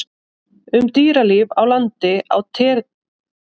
Um dýralíf á landi á tertíer hérlendis er enn lítið vitað.